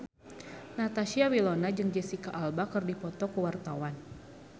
Natasha Wilona jeung Jesicca Alba keur dipoto ku wartawan